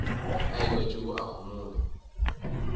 a ekwa tšeo a homola